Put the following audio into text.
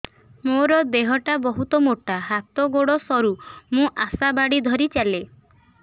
ମୋର ଦେହ ଟା ବହୁତ ମୋଟା ହାତ ଗୋଡ଼ ସରୁ ମୁ ଆଶା ବାଡ଼ି ଧରି ଚାଲେ